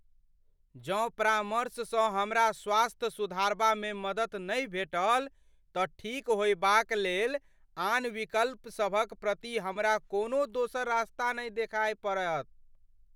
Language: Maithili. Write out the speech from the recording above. जँ परामर्श सँ हमरा स्वास्थ्य सुधारबामे मदति नहि भेटल तँ ठीक होयबाक लेल आन विकल्प सभक प्रति हमरा कोनो दोसर रस्ता देखय पड़त।